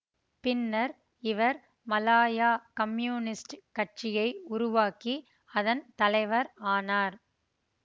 பின்னர் இவர் மலாயா கம்யூனிஸ்டுக் கட்சியை உருவாக்கி அதன் தலைவர் ஆனார்